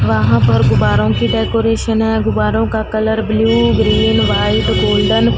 वहां पर गुब्बारों की डेकोरेशन है गुब्बारों का colour blue green white golden --